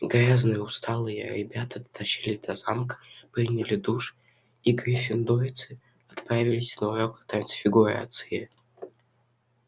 грязные усталые ребята дотащились до замка приняли душ и гриффиндорцы отправились на урок трансфигурации